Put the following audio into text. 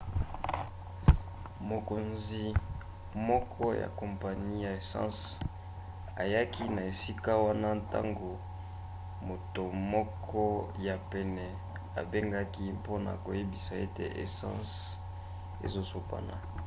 mokonzi moko ya kompani ya essence ayaki na esika wana ntango moto moko ya pene abengaki mpona koyebisa ete essence ezosopana